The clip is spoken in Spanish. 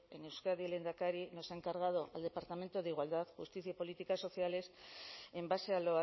en euskadi el lehendakari nos ha encargado al departamento de igualdad justicia y políticas sociales en base a